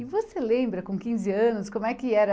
E você lembra, com quinze anos, como é que era?